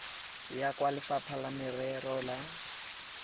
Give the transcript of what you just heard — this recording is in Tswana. ya kwa lefapha la merero